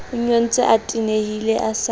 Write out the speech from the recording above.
nyontse a tenehile a sa